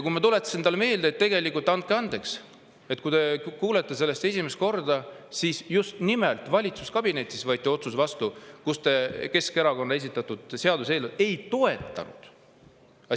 Kui ma tuletasin talle meelde, et andke andeks, aga tegelikult, kui te kuulete sellest esimest korda, siis just nimelt valitsuskabinetis võeti vastu otsus, mille järgi te Keskerakonna esitatud seaduseelnõu ei toetanud.